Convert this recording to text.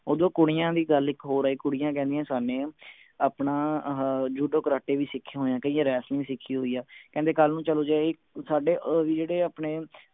ਓਧਰੋਂ ਕੁੜੀਆਂ ਦੀ ਗੱਲ ਇਕ ਹੋਰ ਆਈ ਕੁੜੀਆਂ ਕਹਿੰਦਿਆਂ ਆਪਣਾ ਆਹਾ ਜੂਡੋ ਕਰਾਟੇ ਵੀ ਸਿੱਖੇ ਹੋਏ ਹੈ ਕਇਆਂ ਵਰੇਸਲਿੰਗ ਸਿੱਖੀ ਹੋਈ ਆ ਕਹਿੰਦੇ ਕੱਲ ਨੂੰ ਚਲੋ ਜੇ ਏਹੀ ਸਾਡੇ ਵੀ ਜਿਹੜੇ ਆਪਣੇ